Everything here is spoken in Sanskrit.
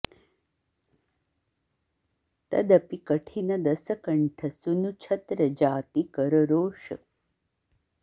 तदपि कठिन दसकंठ सुनु छत्र जाति कर रोष